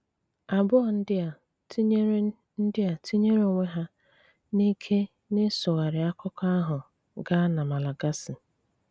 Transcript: Abụọ ndị a tinỳèrè ndị a tinỳèrè onwe ha n’ìkè n’ịsụghárí akụkọ ahụ gaa na Malagasy.